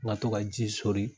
Nka to ka ji sori